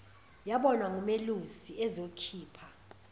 yabonwa ngumelusi ezokhipha